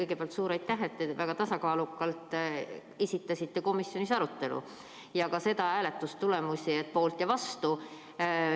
Kõigepealt suur aitäh, et te väga tasakaalukalt esitasite komisjoni arutelu ja ka hääletustulemusi, et kui palju oli poolt ja vastu.